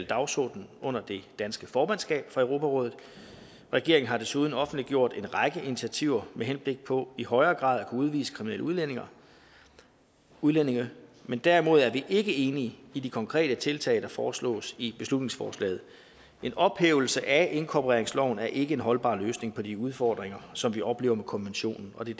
dagsorden under det danske formandskab for europarådet regeringen har desuden offentliggjort en række initiativer med henblik på i højere grad at kunne udvise kriminelle udlændinge udlændinge men derimod er vi ikke enige i de konkrete tiltag der foreslås i beslutningsforslaget en ophævelse af inkorporeringsloven er ikke en holdbar løsning på de udfordringer som vi oplever med konventionen og det